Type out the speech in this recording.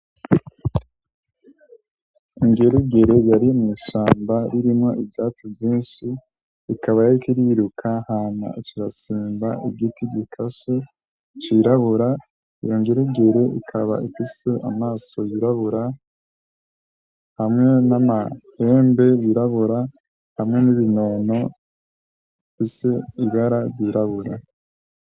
Ingerugere yari mushamba ririmwo ivyatsu vyinshi ikaba yo kiriruka hana ciratsimba igiti gikaso cirabura uyo ngerugere ukaba ekise amaso yirabura hamwe n'amahembe yirabura hamwe nibinono ise ibara rirabura.